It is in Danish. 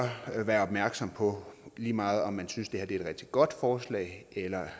være opmærksom på lige meget om man synes det er et rigtig godt forslag eller